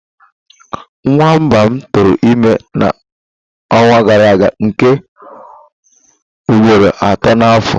Nwamba m tụrụ ime na ọnwa gara aga nke ugboro atọ na afọ a